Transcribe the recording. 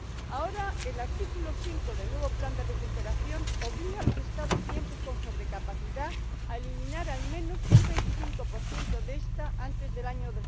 Ahora, el artículo 5 del nuevo plan de recuperación obliga a los Estados miembros con sobrecapacidad a eliminar al menos un 25 de ésta antes del año